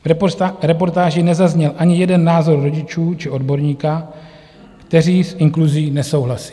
V reportáži nezazněl ani jeden názor rodičů či odborníka, kteří s inkluzí nesouhlasí.